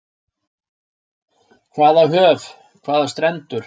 Hvaða höf, hvaða strendur.